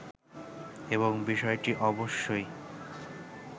এবং বিষয়টি অবশ্যই